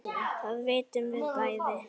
Það vitum við bæði.